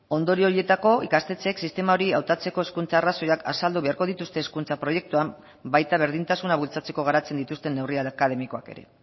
ondorio horietako ikastetxeek sistema hori hautatzeko hezkuntza arrazoiak azaldu beharko dituzte hezkuntza proiektuan baita berdintasuna bultzatzeko garatzen dituzten neurri akademikoak ere